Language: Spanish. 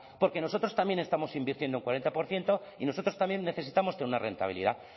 porque nosotros también estamos invirtiendo un cuarenta por ciento y nosotros también necesitamos tener una rentabilidad